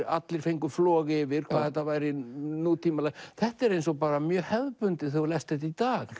allir fengu flog yfir hvað þetta væri nútímalegt þetta er eins og mjög hefðbundið þegar þú lest þetta í dag